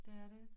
Det er det